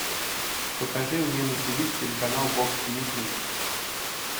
покажи мне на тв телеканал бокс тв плюс